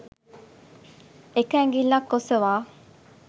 එක ඇඟිල්ලක් ඔසවා